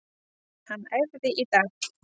Hann æfði í dag.